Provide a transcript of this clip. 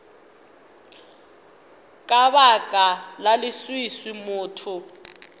ka baka la leswiswi motho